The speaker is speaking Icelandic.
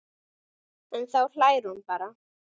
En þá hlær hún bara.